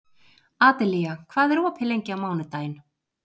Adelía, hvað er opið lengi á mánudaginn?